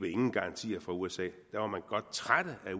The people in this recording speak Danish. ingen garantier fra usa da var man godt trætte af